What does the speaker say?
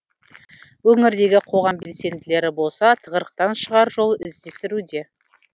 өңірдегі қоғам белсенділері болса тығырықтан шығар жол іздестіруде